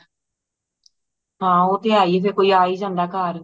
ਹਾਂ ਉਹ ਤੇ ਹੈ ਹੀਏ ਫੇਰ ਕੋਈ ਆ ਹੀ ਜਾਂਦਾ ਘਰ